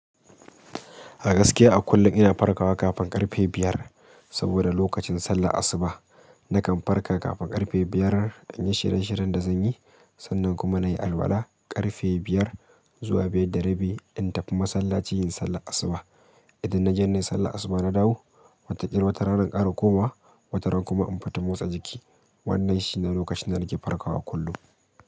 A gaskiya a kullum ina farkawa kafin ƙarfe biyar saboda lokacin sallar asuba. Nakan farka kafin ƙarfe biyar, in yi shiryen shiryen da zan yi, sannan kuma na yi alola ƙarfe biyar zuwa biyar da rabi in tafi masallaci in yi sallar asuba. Idan naje nayi sallan asuba na dawo watakil watarana in kara komawa wataran kuma in fita motsa jiki. Wannan shi ne lokacin da nake farkawa kullum.